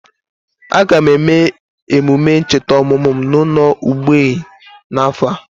Aga m eme emume ncheta ọmụmụ m n'ụlọ mgbei n'afọ a.